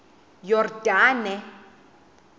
yordane